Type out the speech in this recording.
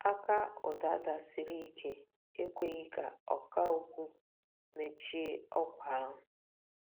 Aka ụda dasịrị ike ekweghị ka ọkà okwu mechie ọkwa ahụ.